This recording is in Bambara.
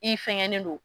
I fɛngɛnen don